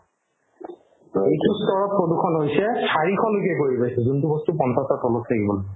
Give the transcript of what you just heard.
এইটো তৰপ প্ৰদূষণ হৈছে চাৰিশলৈকে গৈ পাইছে যোনতো বস্তু পঞ্চাশৰ তলত থাকিব লাগে